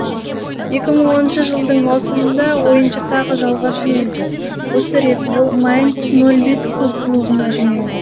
екі мың оныншы жылдың маусымында ойыншы тағы жалға жөнелді осы рет ол майнц ноль бес клубына жөнелді